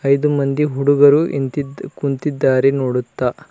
ಐದು ಮಂದಿ ಹುಡುಗರು ಇಂತಿದು ಕುಂತಿದ್ದಾರೆ ನೋಡುತ್ತಾ.